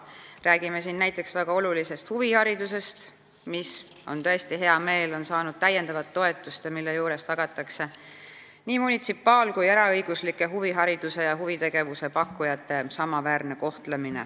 Räägime siin näiteks väga olulisest huviharidusest, mis on saanud täiendavat toetust ja mille puhul tagatakse munitsipaal- ja eraõiguslike huvihariduse ja huvitegevuse pakkujate samaväärne kohtlemine.